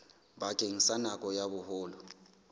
bakeng sa nako ya boholo